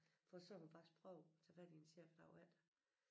For sagde hun faktisk prøvede tage fat i en chef æ dag efter